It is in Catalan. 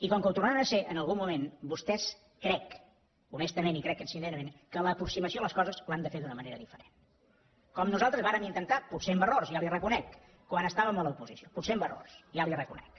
i com que ho tornaran a ser en algun moment vostès crec honestament i crec sincerament que l’aproximació a les coses l’han de fer d’una manera diferent com nosaltres vàrem intentar potser amb errors ja li ho reconec quan estàvem a l’oposició potser amb errors ja li ho reconec